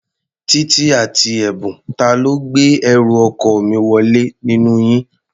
Títí àti Ẹ̀bùn, ta ló gbé ẹrù ọkọ mi wọlé nínú yín?